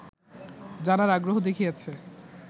জানার আগ্রহ দেখিয়েছে